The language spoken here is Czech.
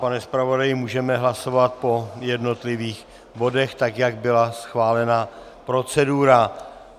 Pane zpravodaji, můžeme hlasovat po jednotlivých bodech, tak jak byla schválena procedura.